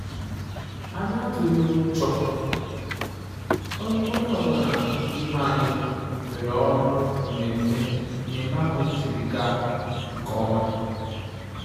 Anyị atụghị ụjọ-onye ọ bụla n'ime anyị weere ọrụ mmemme mmemme ahụ jiri gaa nke ọma